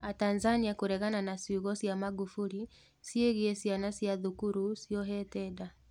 Atanzania kũregana na ciugo cia Magufuli ciĩgĩĩ ciana cua thukuru ciohete nda.